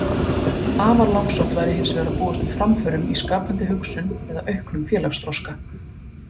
Afar langsótt væri hins vegar að búast við framförum í skapandi hugsun eða auknum félagsþroska.